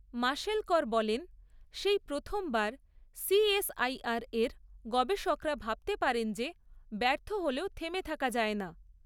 মাশেলকর বলেন, সেই প্রথমবার সিএসআইআর এর গবেষকরা ভাবতে পারেন যে ব্যর্থ হলেও থেমে থাকা যায় না।